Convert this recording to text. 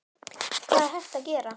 Hvað er hægt að gera?